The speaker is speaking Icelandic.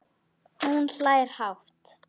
Og hún hlær hátt.